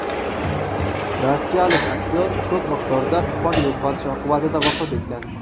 Rossiyalik aktyor ko‘p miqdorda qon yo‘qotish oqibatida vafot etgan.